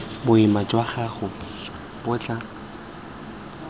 boima jwa gago bo tla